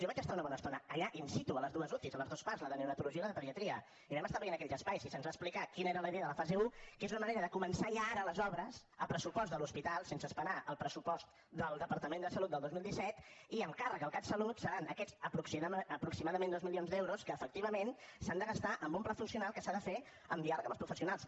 jo vaig estar una bona estona allà in situ a les dues uci a les dues parts la de neonatologia i la de pediatria i vam estar veient aquells espais i se’ns va explicar quina era la idea de la fase un que és una manera de començar ja ara les obres a pressupost de l’hospital sense esperar el pressupost del departament de salut del dos mil disset i amb càrrec al catsalut seran aquests aproximadament dos milions d’euros que efectivament s’han de gastar en un pla funcional que s’ha de fer amb diàleg amb els professionals